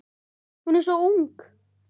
Er hún svo ung?